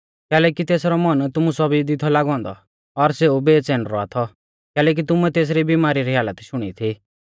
कैलैकि तेसरौ मन तुमु सौभी दी थौ लागौ औन्दौ और सेऊ बेच़ैन रौआ थौ कैलैकि तुमुऐ तेसरी बिमारी री हालत शुणी थी